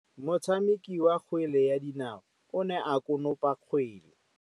Motshameki wa kgwele ya dinaô o ne a konopa kgwele.